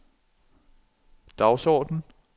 dagsorden